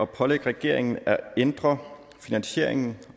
pålægge regeringen at ændre finansieringen